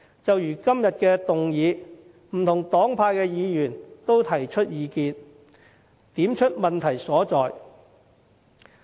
就如今天的議案，不同黨派的議員都提出意見，點出問題所在。